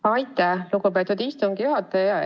Aitäh, lugupeetud istungi juhataja!